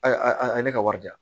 A a ye ne ka wari di yan